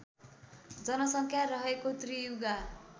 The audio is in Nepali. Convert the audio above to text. जनसङ्ख्या रहेको त्रियुगा